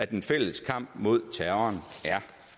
den fælles kamp mod terror er